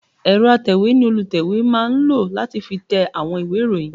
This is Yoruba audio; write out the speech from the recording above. Ẹ̀rọ atẹ̀wé ni olùtẹ̀wé máa ń lò láti fi tẹ àwọn ìwé ìròyìn